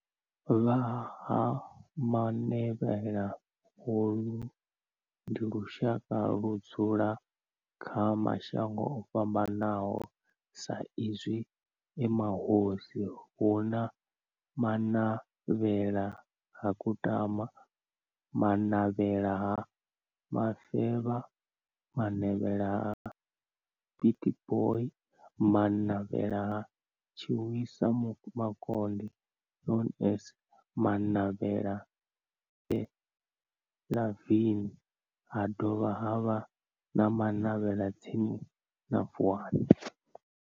Vha Ha-Manavhela holu ndi lushaka ludzula kha mashango ofhambanaho sa izwi e mahosi hu na Manavhela ha Kutama, Manavhela ha Mufeba, Manavhela ha Pietboi na Manavhela ha Tshiwisa Mukonde known as Manavhela Benlavin ha dovha havha na Manavhela tsini na Vuwani.